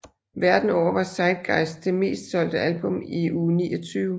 Verden over var Zeitgeist det mest solgte album i uge 29